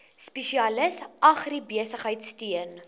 spesialis agribesigheid steun